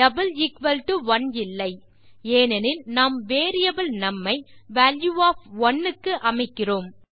1 இல்லை ஏனெனில் நாம் வேரியபிள் நும் ஐ வால்யூ ஒஃப் 1 க்கு அமைக்கிறோம்